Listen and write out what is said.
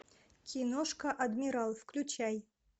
киношка адмирал включай